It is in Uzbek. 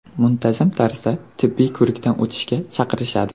Muntazam tarzda tibbiy ko‘rikdan o‘tishga chaqirishadi”.